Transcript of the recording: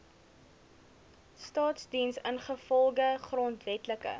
staasdiens ingevolge grondwetlike